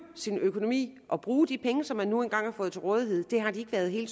økonomi og bruge de penge som de nu engang har fået til rådighed har de ikke været helt